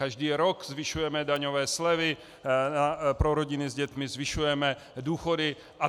Každý rok zvyšujeme daňové slevy pro rodiny s dětmi, zvyšujeme důchody atd.